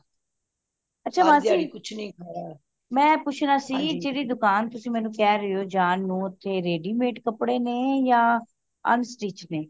ਅੱਛਾ ਮਾਸੀ ਮੈਂ ਪੁੱਛਣਾ ਸੀ ਕਿ ਜਿਹੜੀ ਦੁਕਾਨ ਤੁਸੀ ਮੈਨੂੰ ਕਹਿ ਰਹਿਓ ਜਾਨ ਨੂੰ ਓਥੇ ready-made ਕਪੜੇ ਨੇਯਾ unstitch ਨੇ